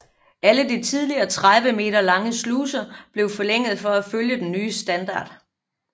Alle de tidligere 30 meter lange sluser blev forlænget for at følge den nye standard